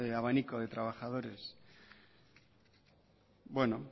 abanico de trabajadores bueno